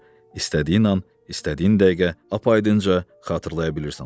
İstədiyin an, istədiyin dəqiqə apaydınca xatırlaya bilirsən onu.